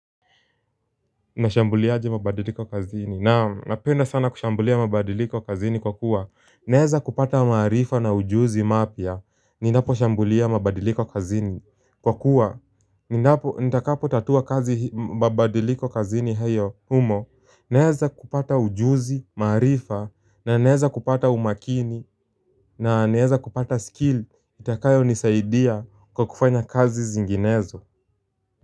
Nashambuliaje mabadiliko kazini Naam, napenda sana kushambulia mabadiliko kazini kwa kuwa naeza kupata maarifa na ujuzi mapya Ninapo shambulia mabadiliko kazini Kwa kuwa Ninapo nitakapo tatua kazi hii mabadiliko kazini heyo humo Naeza kupata ujuzi, maarifa na naeza kupata umakini na naeza kupata skill Itakayo nisaidia kwa kufanya kazi zinginezo.